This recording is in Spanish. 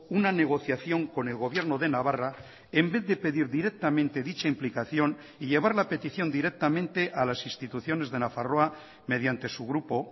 una negociación con el gobierno de navarra en vez de pedir directamente dicha implicación y llevar la petición directamente a las instituciones de nafarroa mediante su grupo